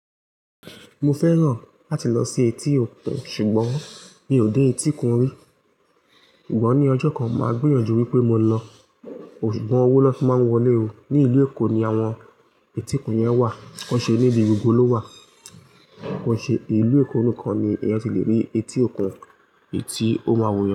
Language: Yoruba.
Mo fẹ́ràn láti lọ sí etí òkun ṣùgbọ́n mi ò dé etíkun rí. Ṣùgbọ́n ní ọjọ́ kan máa gbìyànjú wípé mo lọ, ṣùgbọ́n owó ló fi máa ń wọlé òó. Ní ìlú Èkó ni àwọn etí òkun yẹn wà. Bose ri re ibo ló wà. Kọ́ṣẹ́, ìlú Èkó nìkan ni ẹ ti le rí etí òkun iyi tí ó máa wunyan.